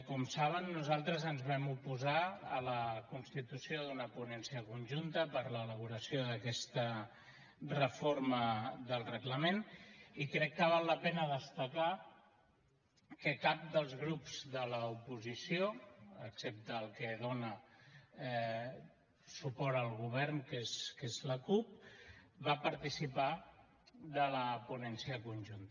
com saben nosaltres ens vam oposar a la constitució d’una ponència conjunta per a l’elaboració d’aquesta reforma del reglament i crec que val la pena destacar que cap dels grups de l’oposició excepte el que dona suport al govern que és que la cup va participar de la ponència conjunta